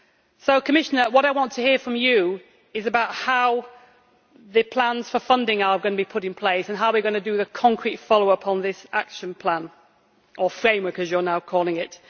So Commissioner, what I want to hear from you is about how the plans for funding are going to be put in place and how we are going to do the concrete follow up on this action plan, or framework as you are now calling it.